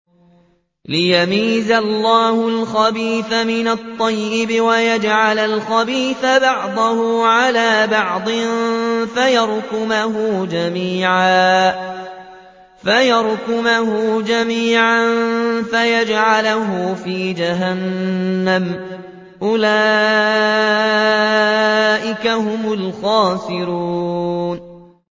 لِيَمِيزَ اللَّهُ الْخَبِيثَ مِنَ الطَّيِّبِ وَيَجْعَلَ الْخَبِيثَ بَعْضَهُ عَلَىٰ بَعْضٍ فَيَرْكُمَهُ جَمِيعًا فَيَجْعَلَهُ فِي جَهَنَّمَ ۚ أُولَٰئِكَ هُمُ الْخَاسِرُونَ